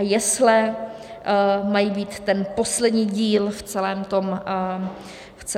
A jesle mají být ten poslední díl v celém tom puzzle.